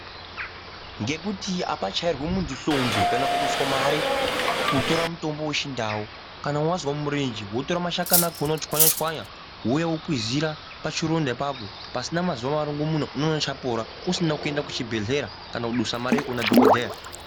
Ngekuti apachayirwi muntu hlombe, kana kuduswa mare kutora mutombo wechindau, kana wazva murenji, wotora mashakani akhona otsvanya tsvanya, wowuya wokwizira pachironda ipapo. Pasina mazuva marongomuno, unowana chapora, usina kuyenda kuchibhedhlera kana kudusa mare yekuwona dhokodheya.